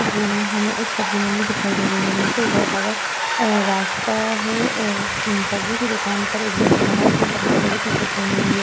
इस तस्वीर में हमें एक सब्जी मंडी दिखाई दे रही है। नीचे ऊबड़-खाबड़ अअ रास्ता है। सब्जी की दुकान पर एक व्यक्ति खड़ा है जिसने सफ़ेद कलर की टी-शर्ट पहनी हुई है।